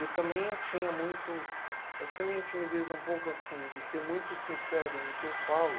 E também eu tinha muito... Essa minha timidez é um pouco assim, de ser muito sincero no que eu falo.